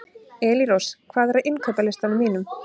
Elírós, hvað er á innkaupalistanum mínum?